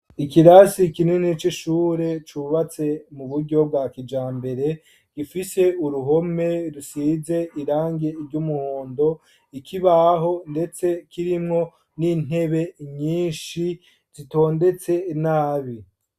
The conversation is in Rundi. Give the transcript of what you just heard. Ikirasi kinini c'ishuri ryubatse muburyo bwa kijambere ifise uruhome rusize irangi ry'umuhondo , ikibaho ndetse kirimwo n'intebe nyinshi zitondetse nabi